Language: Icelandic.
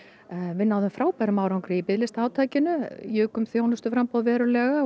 við náðum frábærum árangri í biðlistaátakinu jukum þjónustuframboð verulega